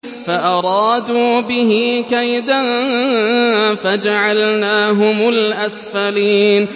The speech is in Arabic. فَأَرَادُوا بِهِ كَيْدًا فَجَعَلْنَاهُمُ الْأَسْفَلِينَ